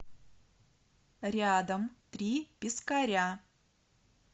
рядом три пескаря